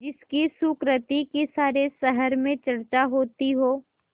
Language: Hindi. जिसकी सुकृति की सारे शहर में चर्चा होती हो